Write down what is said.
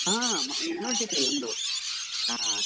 ಹಾ University ಯೇ ನಮ್ದು ಹಾ.